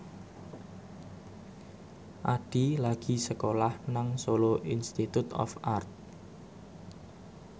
Addie lagi sekolah nang Solo Institute of Art